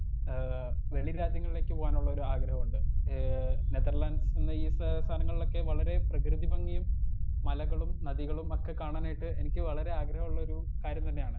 Speaker 1 ഏ വെളി രാജ്യങ്ങളിലേക്ക് പോകാനൊള്ളൊരു ആഗ്രഹണ്ട് ഏ നെതർലൻഡ്സ് സ്ഥലങ്ങളിലൊക്കെ വളരേ പ്രകൃതി ഭംഗിയും മലകളും നദികളും ഒക്കെ കാണാനായിട്ട് എനിക്ക് വളരെ ആഗ്രഹള്ളൊരു കാര്യം തന്നെയാണ്.